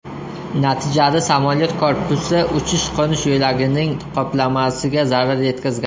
Natijada samolyot korpusi uchish-qo‘nish yo‘lagining qoplamasiga zarar yetkazgan.